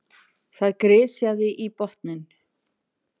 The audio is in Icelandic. Það grisjaði í botninn.